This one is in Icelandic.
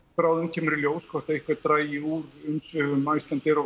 bráðum kemur í ljós hvort eitthvað dragi úr umsvifum Icelandair og